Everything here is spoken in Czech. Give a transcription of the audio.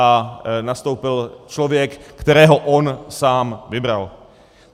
A nastoupil člověk, kterého on sám vybral.